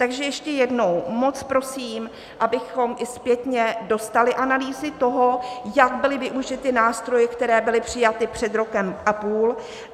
Takže ještě jednou, moc prosím, abychom i zpětně dostali analýzy toho, jak byly využity nástroje, které byly přijaty před rokem a půl.